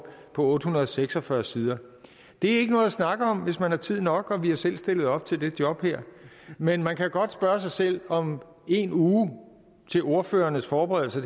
på otte hundrede og seks og fyrre sider er ikke noget at snakke om hvis man har tid nok og vi har selv stillet op til det job her men man kan godt spørge sig selv om en uge til ordførernes forberedelse